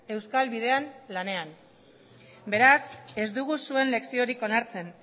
euskal bidean lanean beraz ez dugu zuen leziorik onartzen